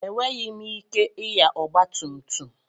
Enweghị m ike ịnya ọgba tum tum.